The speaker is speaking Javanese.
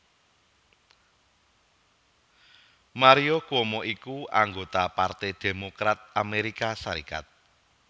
Mario Cuomo iku anggota Partai Démokrat Amérika Sarékat